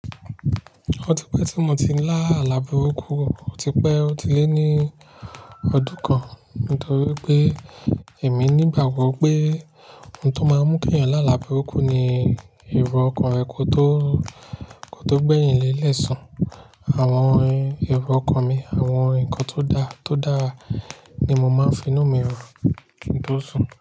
Ọtí pé tí mo ti ń lá àlàburúkú, ò tí pé ó ti lé ní ọdún kan nítorí pé èmi ní ìgbà wí pé ohun tó máa ń mú ènìyàn làlàburúkú ni ìró ọkàn rẹ kò tó, kò tó gbẹ̀yìn lẹ́ẹ̀lẹ sùn. Àwọn ìró ọkàn mi, àwọn ǹkan tó dá, tó dáa ni mo máa ń finú mi rò kí n tó sùn.